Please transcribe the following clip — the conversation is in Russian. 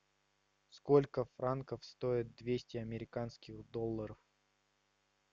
сколько франков стоит двести американских долларов